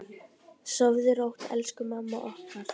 Sofðu rótt elsku amma okkar.